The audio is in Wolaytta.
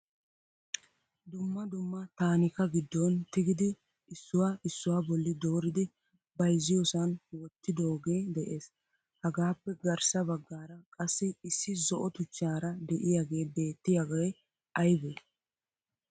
dumma dumma taanikka giddon tigidi issuwa issuwa bolli dooridi bayzziyoosan wottidooge de'ees. hagappe garssa baggaara qassi issi zo'o tuchchaara de'iyaagee bettiyaagee aybe?